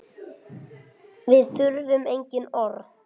Við þurfum engin orð.